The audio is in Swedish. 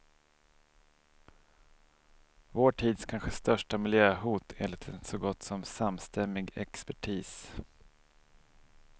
Vår tids kanske största miljöhot, enligt en så gott som samstämmig expertis.